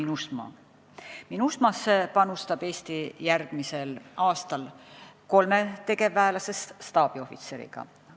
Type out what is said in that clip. Eesti panustab järgmisel aastal MINUSMA-sse kolme tegevväelasest staabiohvitseriga.